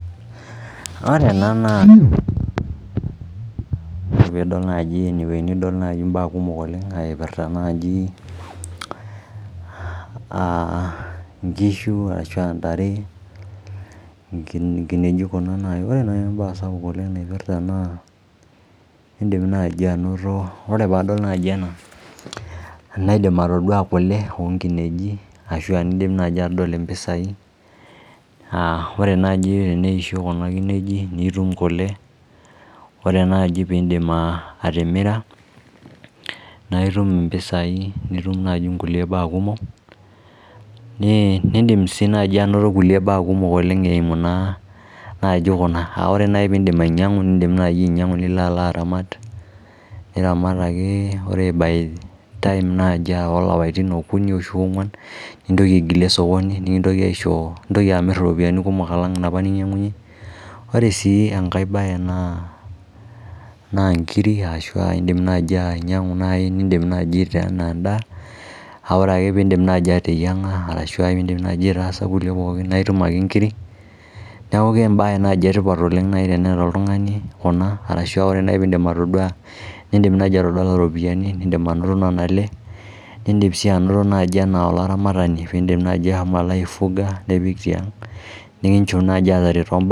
Ore ena naa idol naaji imbaa kumok oleng' ipirta naji inkishu ashu ntare Ore nai embae sapuk naipirta naa in'dim nai anoto naa aidim atodua kule oonkineji naji nadol impisai aah ore nai teneisho kuna kinejik nitum kule Ore naaji piidim atimira naitum impisai nitum nai kulie baa kumok Niidim sii nai anoto kulie baa kumok eimu naa naaji kuna ore nai piidim ainyangu nilo alo aramat naji kuna ore by time naaji ilapaitin okuni ashu oongwan ntoki aigilie sokoni nintoki amir iropiani kumok alang inoopa ninyang'unye Ore siinenkae bae naa inkiri ashu iin'dim nai ainyang'u enaa en'daa ore ake piidip nai ateyieng'a ashu aitaasa kulie pookin naa itum ake ingiri nieku embae nai etipat teneeta oltungani kuna arashu ore nai piidim atodua nidim anoto ropiani nii'dim anoto nena ale nii'dim sii anoto naaji enaa olaramatani